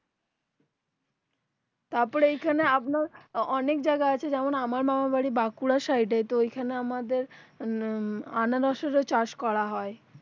তারপর এখানে আপনার অনেক জায়গা আছে যেমন আমার মামার বাড়ি বাঁকুড়ার সাইডে আনারসের যে চাষ করা হয়